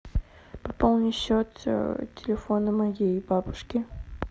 пополни счет телефона моей бабушки